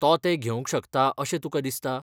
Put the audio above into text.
तो तें घेवंक शकताअशें तुकां दिसता ?